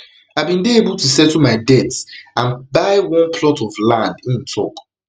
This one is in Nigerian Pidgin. i bin dey able to settle my debts and buy one plot of of land im tok